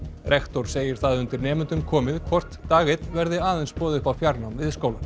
rektor segir það undir nemendum komið hvort dag einn verði aðeins boðið upp á fjarnám við skólann